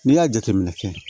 N'i y'a jateminɛ kɛ